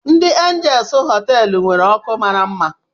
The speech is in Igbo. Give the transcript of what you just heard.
Dị Anjels họteelụ nwere ọkụ mara mma.